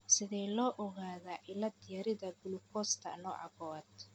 Sidee loo ogaadaa cillad-yarida gulukoosta nooca kowaad?